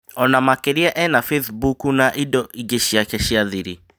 Ona makiria ena bathimbuku na indo ingĩ ciake cia thiri